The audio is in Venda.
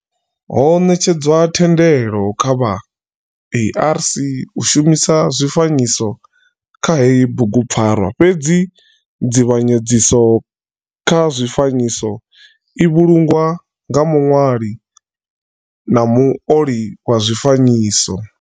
Ho netshedzwa thendelo kha vha ARC u shumisa zwifanyiso kha heyi bugupfarwa fhedzi nzivhanyedziso kha zwifanyiso i vhulungwa nga muṋwali na muoli wa zwifanyiso.